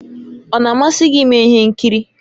Ọ na-amasị gị ime ihe nkiri?